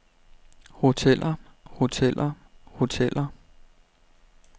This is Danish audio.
hoteller hoteller hoteller